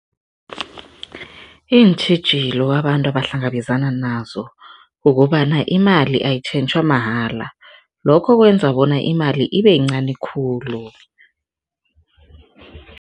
Iintjhijilo abantu abahlangabezana nazo kukobana, imali ayitjhentjhwa mahala, lokho kwenza bona imali ibeyincani khulu.